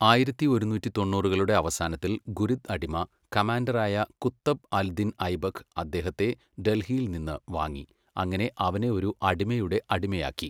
ആയിരത്തി ഒരുന്നൂറ്റി തൊണ്ണൂറുകളുടെ അവസാനത്തിൽ, ഗുരിദ് അടിമ കമാൻഡറായ കുത്തബ് അൽ ദിൻ ഐബക്ക് അദ്ദേഹത്തെ ഡൽഹിയിൽ നിന്ന് വാങ്ങി, അങ്ങനെ അവനെ ഒരു അടിമയുടെ അടിമയാക്കി.